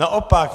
Naopak.